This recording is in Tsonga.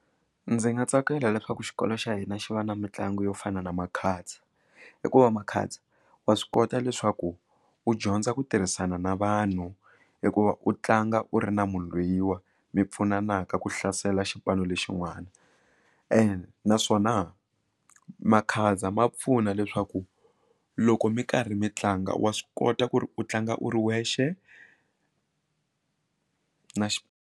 Ndzi nga tsakela leswaku xikolo xa hina xi va na mitlangu yo fana na makhadzi hikuva makhadzi wa swi kota leswaku u dyondza ku tirhisana na vanhu hikuva u tlanga u ri na munhu loyi wa mi pfunana ka ku hlasela xipano lexin'wana ene naswona makhadza ma pfuna leswaku loko mi karhi mi tlanga wa swi kota ku ri u tlanga u ri wexe na .